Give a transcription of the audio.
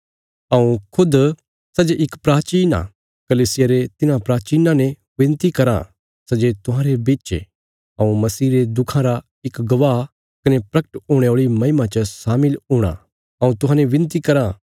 हऊँ खुद सै जे इक प्राचीन आ कलीसिया रे तिन्हां प्राचीनां ने विनती कराँ सै जे तुहांरे बिच ये हऊँ मसीह रे दुखां रा इक गवाह कने प्रगट हुणे औल़ी महिमा च शामिल हूणा हऊँ तुहांजो विनती कराँ